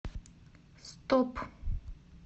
стоп